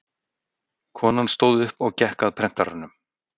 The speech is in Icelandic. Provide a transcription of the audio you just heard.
Konan stóð upp og gekk að prentaranum.